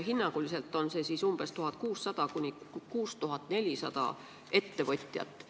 Hinnanguliselt on see 1600–6400 ettevõtjat.